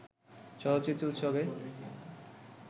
চলচ্চিত্র উৎসবে